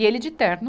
E ele de terno,